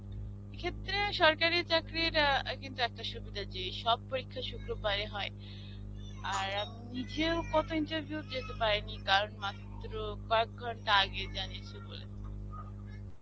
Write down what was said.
এক্ষেত্রে সরকারী চাকরির আ কিন্তু একটা সুবিধা যে, সব পরীক্ষা শুক্রবারে হয়. আর এক পিছিয়েও কত interview কত যেতে পারেনি কারণ, মাত্র কয়েক ঘন্টা আগে জানিয়েছে বলে.